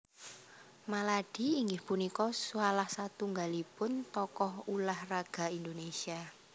Maladi inggih punika salah satunggalipun tokoh ulah raga Indonésia